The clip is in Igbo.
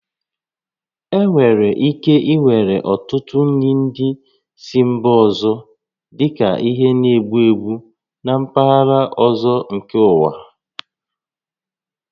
E nwèrè ike iwere ọtụtụ nri ndị si mba ọzọ dịka ihe na-egbu egbu na mpaghara ọzọ nke ụwa